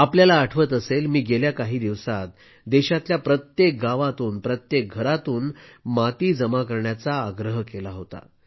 आपल्याला आठवत असेल मी गेल्या काही दिवसात देशातल्या प्रत्येक गावातून प्रत्येक घरातून माती जमा करण्याचा आग्रह केला होता